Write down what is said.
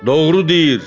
Doğru deyir.